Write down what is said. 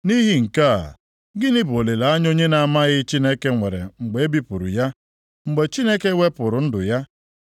Nʼihi nke a, gịnị bụ olileanya onye na-amaghị Chineke nwere mgbe e bipụrụ ya, mgbe Chineke wepụrụ ndụ ya?